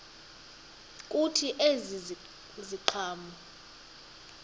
kuthi ezi ziqhamo